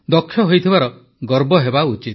ଦକ୍ଷ ହୋଇଥିବାର ଗର୍ବ ହେବା ଉଚିତ